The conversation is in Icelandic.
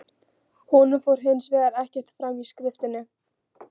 Honum fór hins vegar ekkert fram í skriftinni.